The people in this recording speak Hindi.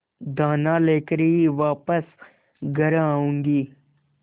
दाना लेकर ही वापस घर आऊँगी